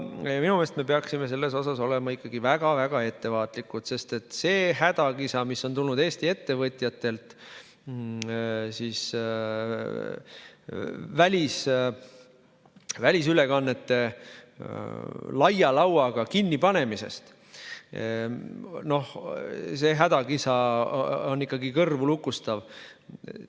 Minu meelest peaksime me selles suhtes olema ikkagi väga-väga ettevaatlikud, sest see hädakisa, mis on tulnud Eesti ettevõtjatelt välisülekannete laia lauaga kinnipanemisest, on kõrvulukustav.